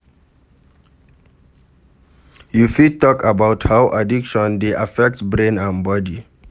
You fit talk about how addiction dey affect brain and body?